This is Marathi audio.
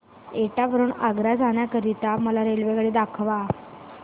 एटा वरून आग्रा जाण्या करीता मला रेल्वेगाडी दाखवा